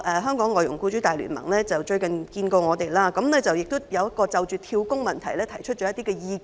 香港外傭僱主大聯盟最近與我們會面，就"跳工"的問題提出了一些意見。